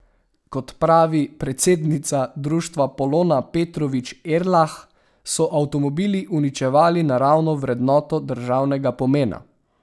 Kot pravi predsednica društva Polona Petrovič Erlah, so avtomobili uničevali naravno vrednoto državnega pomena.